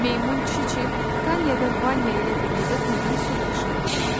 Meymun Çiçi, Tanya və Vanya ilə birlikdə quyudan su daşıyırdılar.